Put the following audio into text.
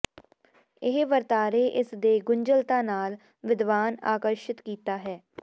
ਇਹ ਵਰਤਾਰੇ ਇਸ ਦੇ ਗੁੰਝਲਤਾ ਨਾਲ ਵਿਦਵਾਨ ਆਕਰਸ਼ਿਤ ਕੀਤਾ ਹੈ